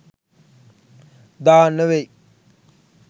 දාන්න වෙයි